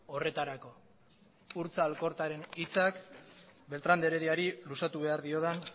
horretarako urtza alkortaren hitzak beltrán de herediari luzatu behar diodan